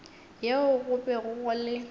yeo go bego go le